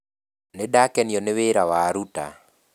Nĩ ndakenio nĩ wĩra waruta